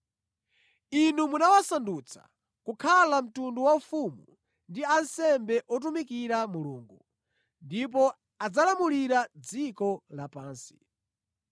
Inu munawasandutsa kukhala mtundu waufumu ndi ansembe otumikira Mulungu, ndipo adzalamulira dziko lapansi.”